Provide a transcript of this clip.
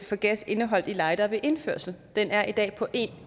for gas indeholdt i lightere ved indførsel den er i dag på en